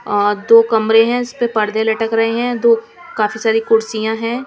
दो कमरे हैं इस पे पर्दे लटक रहे हैं दो काफी सारी कुर्सियां हैं.